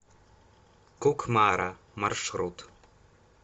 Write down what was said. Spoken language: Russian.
кукмара маршрут